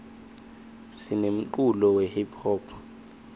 sinemculo we hiphop